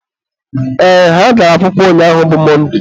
ee, ha gara akwụkwọ ụnyaahụ bụ Mọnde